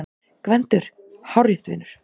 GVENDUR: Hárrétt, vinur!